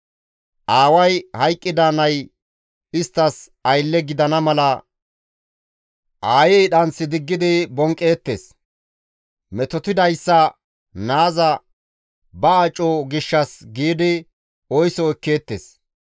Aaway hayqqida nay isttas aylle gidana mala aayey dhanth diggidi bonqqeettes; metotidayssa naaza ba aco gishshas giidi oyso ekkeettes.